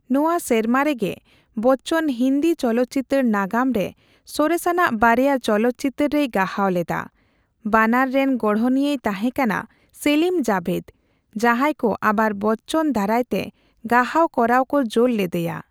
ᱱᱚᱣᱟ ᱥᱮᱨᱢᱟᱨᱮ ᱜᱮ ᱵᱚᱪᱪᱚᱱ ᱦᱤᱱᱫᱤ ᱪᱚᱞᱚᱛᱪᱤᱛᱟᱹᱨ ᱱᱟᱜᱟᱢ ᱨᱮ ᱥᱚᱨᱮᱥᱟᱱᱟᱜ ᱵᱟᱨᱭᱟ ᱪᱚᱞᱚᱛᱪᱤᱛᱟᱹᱨ ᱨᱮᱭ ᱜᱟᱦᱟᱣ ᱞᱮᱫᱟ, ᱵᱟᱱᱟᱨ ᱨᱮᱱ ᱜᱚᱲᱦᱚᱱᱤᱭᱟᱹᱭ ᱛᱟᱦᱮᱸ ᱠᱟᱱᱟ ᱥᱮᱞᱤᱢᱼᱡᱟᱵᱷᱮᱫ, ᱡᱟᱦᱟᱸᱭ ᱠᱚ ᱟᱵᱟᱨ ᱵᱚᱪᱪᱚᱱ ᱫᱟᱨᱟᱭ ᱛᱮ ᱜᱟᱦᱟᱣ ᱠᱚᱨᱟᱣ ᱠᱚ ᱡᱳᱨ ᱞᱮᱫᱮᱭᱟ ᱾